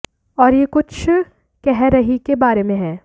और यह कुछ कह रही है के बारे में है